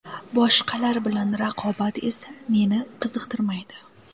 Boshqalar bilan raqobat esa meni qiziqtirmaydi.